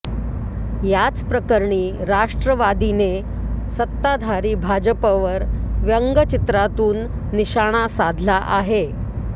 याचप्रकरणी राष्ट्रवादीने सत्ताधारी भाजपवर व्यंगचित्रातून निशाणा साधला आहे